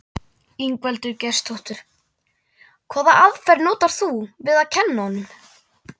Ingveldur Geirsdóttir: Hvaða aðferð notar þú við að kenna honum?